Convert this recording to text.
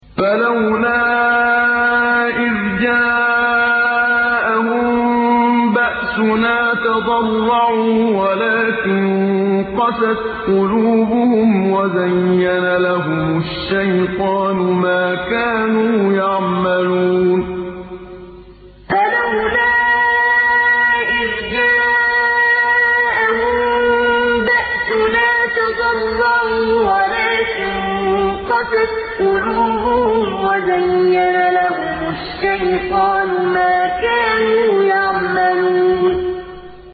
فَلَوْلَا إِذْ جَاءَهُم بَأْسُنَا تَضَرَّعُوا وَلَٰكِن قَسَتْ قُلُوبُهُمْ وَزَيَّنَ لَهُمُ الشَّيْطَانُ مَا كَانُوا يَعْمَلُونَ فَلَوْلَا إِذْ جَاءَهُم بَأْسُنَا تَضَرَّعُوا وَلَٰكِن قَسَتْ قُلُوبُهُمْ وَزَيَّنَ لَهُمُ الشَّيْطَانُ مَا كَانُوا يَعْمَلُونَ